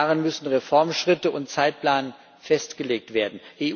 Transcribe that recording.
Darin müssen Reformschritte und Zeitplan festgelegt werden.